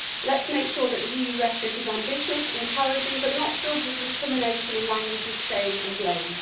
Let us make sure that the EU rhetoric is ambitious, encouraging, but not filled with recrimination and the language of shame and blame.